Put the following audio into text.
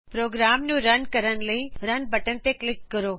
programme ਨੂੰ run ਕਰਨ ਲਈ ਰਨ ਬਟਨ ਤੇ ਕਲਿਕ ਕਰੋ